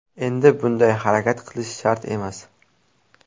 Endi bunday harakat qilish shart emas.